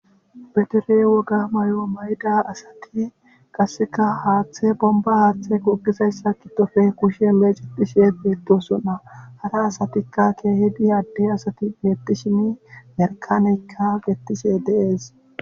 Be dere woga may7o mayida asati qasseka haaththe bomba haaththe kogizayssa qidofe kushe meecedishe beettosonna hara asatikka ke hidi adde asati beetti shini merkanikka gettise dees